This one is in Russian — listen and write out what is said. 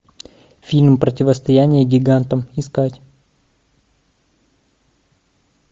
фильм противостояние гигантам искать